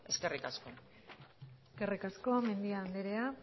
eskerrik asko eskerrik asko mendia anderea